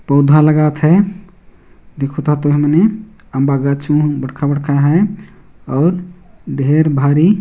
पौधा लगात हे देखता तुही मने अम बगाचे मन बड़का बड़का हैं। और ढेर भारी--